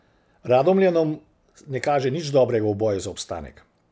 Radomljanom ne kaže nič dobrega v boju za obstanek.